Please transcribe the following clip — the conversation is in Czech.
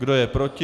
Kdo je proti?